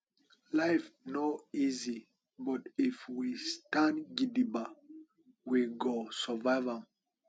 life no easy but if we stand gidigba we go survive am